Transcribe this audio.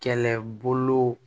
Kɛlɛbolo